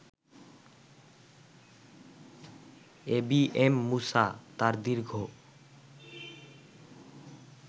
ABM Musa তাঁর দীর্ঘ